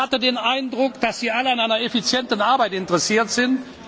Ich hatte den Eindruck, dass Sie an einer effizienten Arbeit interessiert sind.